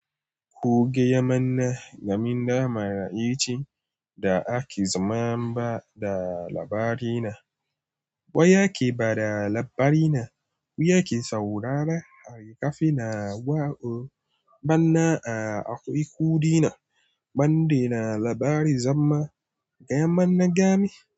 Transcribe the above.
Ku gaya mana game da maraice da ake zama ba da labarina. Wa yake bada labarina? Wa yake saurara? Hari kafina wa'o bana a aku iku dina. Mandina labari zama gayama na gami.